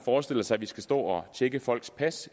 forestillet sig at vi skal stå og tjekke folks pas